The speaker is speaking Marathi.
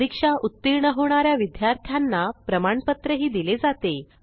परीक्षा उत्तीर्ण होणा या विद्यार्थ्यांना प्रमाणपत्रही दिले जाते